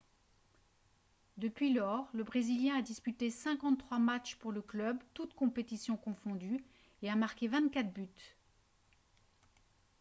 depuis lors le brésilien a disputé 53 matches pour le club toutes compétitions confondues et a marqué 24 buts